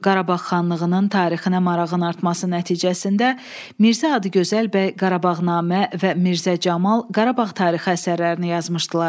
Qarabağ xanlığının tarixinə marağın artması nəticəsində Mirzə Adıgözəl bəy Qarabağnamə və Mirzə Camal Qarabağ tarixi əsərlərini yazmışdılar.